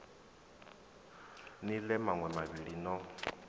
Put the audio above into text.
ni ḽee maṋwe mavhili no